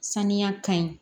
Saniya ka ɲi